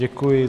Děkuji.